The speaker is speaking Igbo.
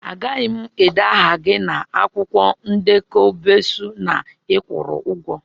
Agaghị m ede aha gị na akwụkwọ ndekọ besọ na ị kwụrụ ụgwọ